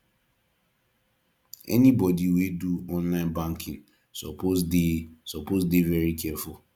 anybodi wey dey do online banking suppose dey suppose dey very careful